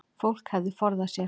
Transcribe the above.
Fólk hefði forðað sér